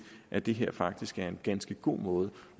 at det her faktisk er en ganske god måde